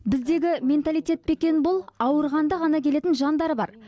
біздегі менталитет пе екен бұл ауырғанда ғана келетін жандар бар